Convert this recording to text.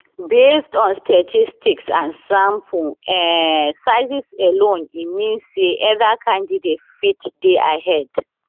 based on statistics and sample um sizes alone e mean say either candidate fit dey ahead